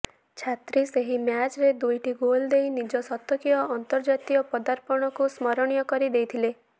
ଛେତ୍ରୀ ସେହି ମ୍ୟାଚ୍ରେ ଦୁଇଟି ଗୋଲ୍ ଦେଇ ନିଜ ଶତକୀୟ ଅନ୍ତର୍ଜାତୀୟ ପଦାର୍ପଣକୁ ସ୍ମରଣୀୟ କରି ଦେଇଥିଲେ